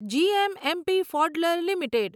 GMMP ફૉડલર limited